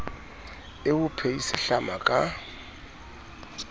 e o phehise hlama ka